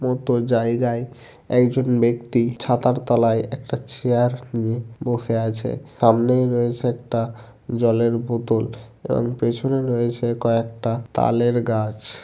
মতো জায়গায় একজন ব্যক্তি ছাতার তলায় একটা চেয়ার নিয়ে বসে আছে সামনেই রয়েছে একটা জলের বোতল পেছনে রয়েছে কয়েকটা তালের গাছ।